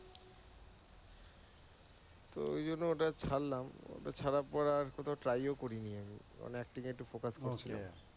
তো ঐ জন্য ওটা ছারলাম। তারপর ছাড়ার পর আর কোনও try ও করিনি আমি কারণ acting এ একটু focus টা ও